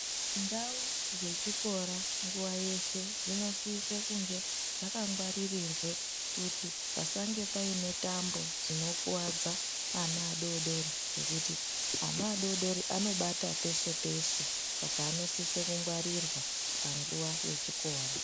Ndau dzechikora nguwa yeshe dzinosise kunge dzakangwaririrwe pasange paine tambo dzinokwadza ana adodori nekuti ana adodori anobata peshe peshe saka anosisa kungwarirwa panguwa yechikora